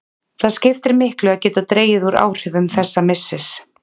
Það skiptir miklu að geta dregið úr áhrifum þessa missis.